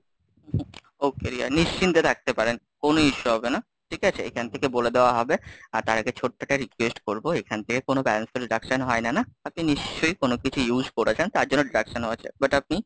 Okay Riya, নিশ্চিন্তে থাকতে পারেন, কোনো issue হবে না, ঠিক আছে? এখান থেকে বলে দেওয়া হবে তার আগে ছোট্ট একটা request করবো, এখান থেকে কোনো Balance তো deduction হয়না না, আপনি নিশ্চয়ই কোনো কিছু use করেছেন, তার জন্য deduction হয়েছেন butt আপনি,